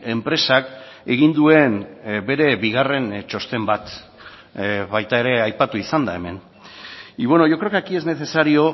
enpresak egin duen bere bigarren txosten bat baita ere aipatu izan da hemen y bueno yo creo que aquí es necesario